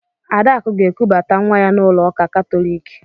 Adakụ ga-ekubata nwa ya n'ụlọ ụka Katọliki.